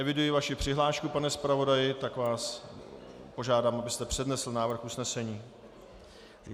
Eviduji vaši přihlášku, pane zpravodaji, tak vás požádám, abyste přednesl návrh usnesení.